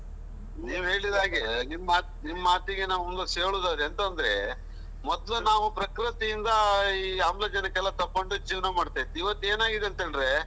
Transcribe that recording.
ನೀವು ಹೇಳಿದ ಹಾಗೆ ನಿಮ್ಮ ನಿಮ್ಮ ಮಾತಿಗೆ ನಾವು ಕೂಡಿಸಿ ಹೇಳುದಂದ್ರೆ ಎಂತಂದ್ರೆ, ಮೊದಲು ನಾವು ಪ್ರಕೃತಿಯಿಂದ ಈ ಆಮ್ಲಜನಕ ಎಲ್ಲ ತಕ್ಕೊಂಡು ಜೀವನ ಮಾಡ್ತಾ ಇದ್ವಿ, ಇವತ್ತು ಏನಾಗಿದೆ ಅಂತ ಹೇಳಿದ್ರೆ.